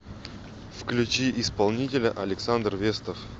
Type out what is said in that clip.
включи исполнителя александр вестов